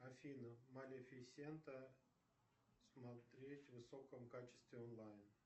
афина малефисента смотреть в высоком качестве онлайн